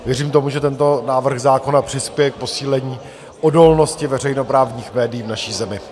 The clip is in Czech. Věřím tomu, že tento návrh zákona přispěje k posílení odolnosti veřejnoprávních médií v naší zemi.